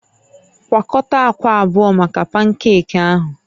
Gwakọta akwa abụọ maka pankeeki ahụ